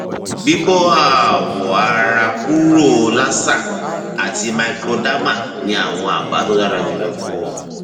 bíbó awọ ara kúrò laser àti microderma ni àwọn àbá tó dára jùlọ fún ọ